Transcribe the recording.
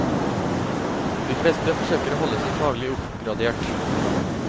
De fleste forsøker å holde seg faglig oppgradert.